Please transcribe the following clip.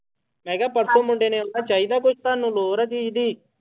ਮੈਂ ਕਿਹਾ ਪਰਸੋਂ ਮੁੰਡੇ ਨੇ ਆਉਣਾ ਚਾਹੀਦਾ ਕੁਛ ਤੁਹਾਨੂੰ ਲੋੜ ਆ ਚੀਜ਼ ਦੀ।